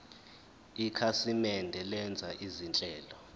ikhasimende lenza izinhlelo